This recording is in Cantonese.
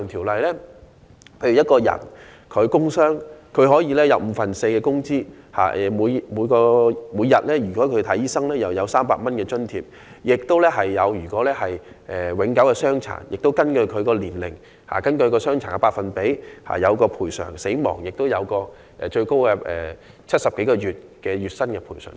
舉例而言，僱員工傷可享五分之四的工資；如看醫生，每天可享300元津貼；如永久傷殘，便根據他的年齡及傷殘的百分比獲得賠償；若員工因工死亡，最高可獲70多個月薪金的賠償。